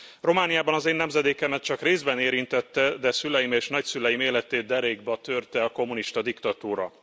Romániában az én nemzedékemet csak részben érintette, de szüleim és nagyszüleim életét derékba törte a kommunista diktatúra.